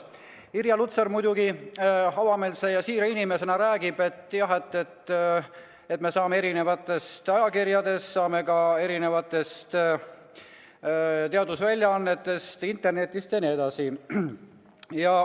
Irja Lutsar muidugi avameelse ja siira inimesena räägib, et jah, me saame teavet mitmetest ajakirjadest, teadusväljaannetest, internetist jne.